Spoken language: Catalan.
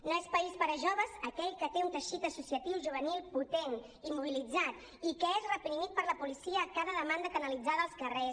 no és país per a joves aquell que té un teixit associatiu juvenil potent i mobilitzat i que és reprimit per la policia a cada demanda canalitzada als carrers